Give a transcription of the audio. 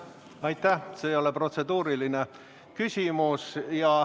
See ei ole protseduuriline küsimus.